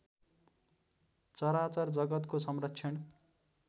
चराचर जगतको संरक्षण